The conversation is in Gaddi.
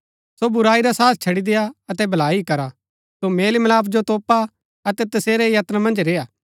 सो बुराई रा साथ छड़ी देय्आ अतै भलाई ही करा सो मेल मिलाप जो तोपा अतै तसेरै यत्न मन्ज रेय्आ